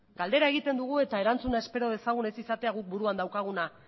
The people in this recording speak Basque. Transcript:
galdera egiten dugu eta erantzuna espero dezagun ez izatea guk buruan daukaguna